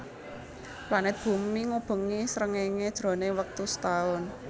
Planet bumi ngubengi srengéngé jroning wektu setaun